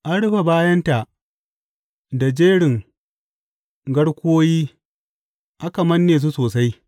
An rufe bayanta da jerin garkuwoyi aka manne su sosai.